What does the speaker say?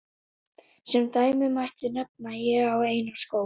Sem dæmi mætti nefna: Ég á eina skó.